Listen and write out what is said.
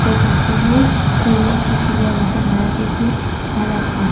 कहते हैं सोने की चिड़िया जिसे भारत देश में कहा जाता है।